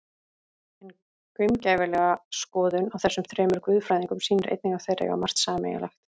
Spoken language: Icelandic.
En gaumgæfileg skoðun á þessum þremur guðfræðingum sýnir einnig að þeir eiga margt sameiginlegt.